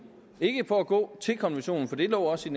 ikke på at gå til kanten af konventionen for det lå også